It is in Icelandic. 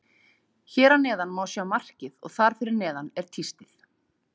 Hér að neðan má sjá markið og þar fyrir neðan er tístið.